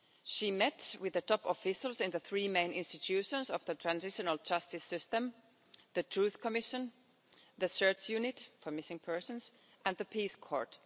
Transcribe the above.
She met with the top officials in the three main institutions of the transitional justice system the Truth Commission, the Search Unit for Missing Persons and the Peace Court.